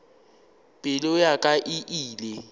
pelo ya ka e ile